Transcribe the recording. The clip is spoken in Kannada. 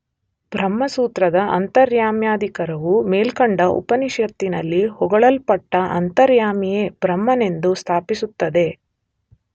ಬ್ರಹ್ಮಸೂತ್ರದ ಅಂತರ್ಯಾಮ್ಯಧಿಕರಣವು ಮೇಲ್ಕಂಡ ಉಪನಿಷತ್ತಿನಲ್ಲಿ ಹೊಗಳಲ್ಪಟ್ಟ ಅಂತರ್ಯಾಮಿಯೇ ಬ್ರಹ್ಮನೆಂದು ಸ್ಥಾಪಿಸುತ್ತದೆ.